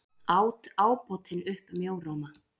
át ábótinn upp mjóróma.